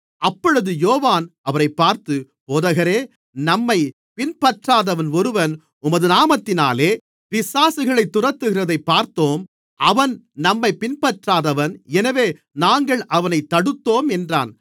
அப்பொழுது யோவான் அவரைப் பார்த்து போதகரே நம்மைப் பின்பற்றாதவன் ஒருவன் உமது நாமத்தினாலே பிசாசுகளைத் துரத்துகிறதைப் பார்த்தோம் அவன் நம்மைப் பின்பற்றாதவன் எனவே நாங்கள் அவனைத் தடுத்தோம் என்றான்